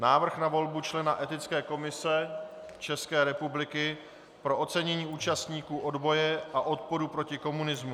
Návrh na volbu člena Etické komise České republiky pro ocenění účastníků odboje a odporu proti komunismu